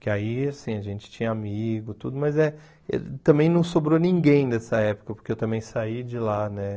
Que aí, assim, a gente tinha amigo, tudo, mas eh também não sobrou ninguém dessa época, porque eu também saí de lá, né?